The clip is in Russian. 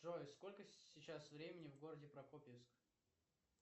джой сколько сейчас времени в городе прокопьевск